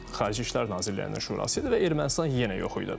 Xarici İşlər Nazirlərinin Şurası idi və Ermənistan yenə yox idi.